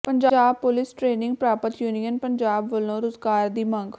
Punjab police training ਪ੍ਰਾਪਤ union Punjab ਵੱਲੋਂ ਰੋਜ਼ਗਾਰ ਦੀ ਮੰਗ